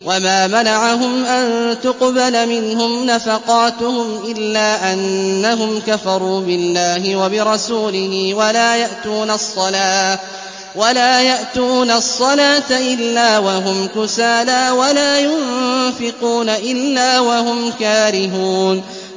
وَمَا مَنَعَهُمْ أَن تُقْبَلَ مِنْهُمْ نَفَقَاتُهُمْ إِلَّا أَنَّهُمْ كَفَرُوا بِاللَّهِ وَبِرَسُولِهِ وَلَا يَأْتُونَ الصَّلَاةَ إِلَّا وَهُمْ كُسَالَىٰ وَلَا يُنفِقُونَ إِلَّا وَهُمْ كَارِهُونَ